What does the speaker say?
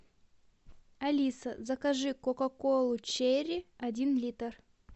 алиса закажи кока колу черри один литр